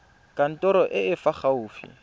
kantorong e e fa gaufi